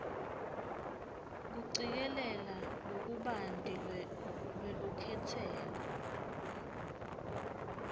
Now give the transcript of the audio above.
kucikelela lokubanti lwelukhetselo